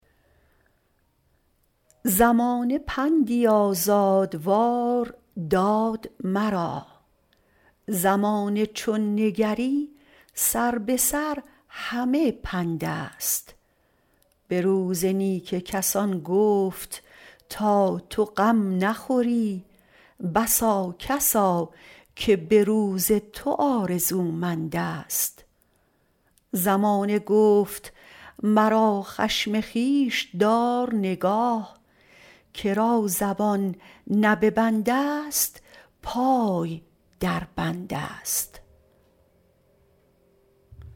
زمانه پندی آزادوار داد مرا زمانه چون نگری سر به سر همه پند است به روز نیک کسان گفت تا تو غم نخوری بسا کسا که به روز تو آرزومند است زمانه گفت مرا خشم خویش دار نگاه که را زبان نه به بند است پای در بند است